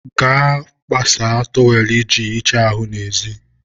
gaa kpasaa tọwelụ i ji hichaa ahụ n'ezi.